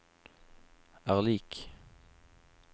er lik